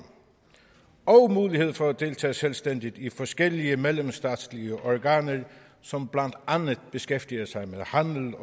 og mulighed for at deltage selvstændigt i forskellige mellemstatslige organer som blandt andet beskæftiger sig med handel